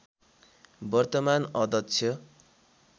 वर्तमान अध्यक्ष